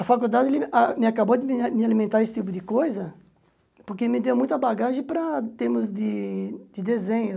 A faculdade a me acabou de me alimentar desse tipo de coisa, porque me deu muita bagagem para termos de de desenho.